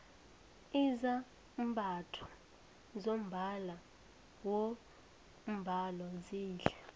izambatho zombala wombhalo zihle